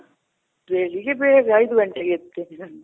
ಬೆಳಿಗ್ಗೆ ಬೇಗ ಐದು ಘಂಟೆಗೆ ಎದ್ದೆಳ್ತೀನಿ ನಾನು.